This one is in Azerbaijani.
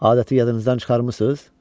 Adəti yadınızdan çıxarmısınız?